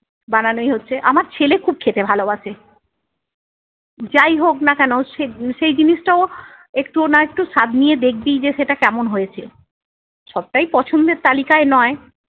বানানোই হচ্ছে। আমার ছেলে খুব খেতে ভালোবাসে। যাইহোক না কেন সে~ সেই জিনিসটা ও একটুও না একটু স্বাদ নিয়ে দেখবেই যে সেটা কেমন হয়েছে। সবটাই পছন্দের তালিকায় নয়-